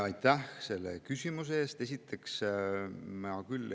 Aitäh selle küsimuse eest!